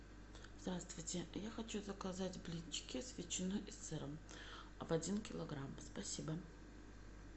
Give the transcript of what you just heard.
здравствуйте я хочу заказать блинчики с ветчиной и сыром один килограмм спасибо